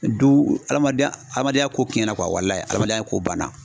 Du hadamadenya hadamadenya ko tiɲɛ walaye adamadenya ko banna.